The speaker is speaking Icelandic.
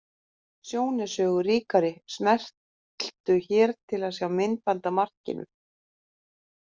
Sjón er sögu ríkari. Smelltu hér til að sjá myndband af markinu